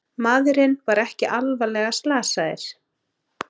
Maðurinn er ekki alvarlega slasaðir